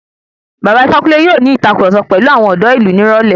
Bàba Ifákúnle yóò ní ìtàkurọ̀sọ pẹ̀lu àwọn ọ̀dọ́ ìlú ní ìrọ̀lẹ́.